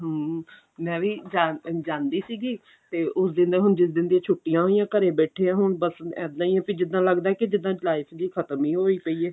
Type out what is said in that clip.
ਹਮ ਮੈਂ ਵੀ ਚਾਰ ਦਿਨ ਜਾਂਦੀ ਸੀਗੀ ਤੇ ਉਸ ਦਿਨ ਜਿਸ ਦਿਨ ਦੀਆਂ ਛੁੱਟੀਆਂ ਹੋਈਆਂ ਘਰੇ ਬੈਠੇ ਆਂ ਹੁਣ ਬੱਸ ਇੱਦਾਂ ਹੀ ਵੀ ਜਿੱਦਾਂ ਲੱਗਦਾ ਵੀ ਜਿੱਦਾਂ ਜਿੱਦਾਂ ਚਲਾਈ ਚਲੁਈ ਖਤਮ ਹੀ ਹੋਈ ਪਈ ਏ